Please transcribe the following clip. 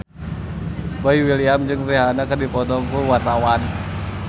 Boy William jeung Rihanna keur dipoto ku wartawan